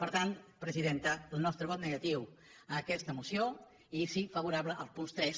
per tant presidenta el nostre vot negatiu a aquesta moció i sí favorable als punts tres